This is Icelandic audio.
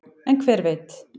en hver veit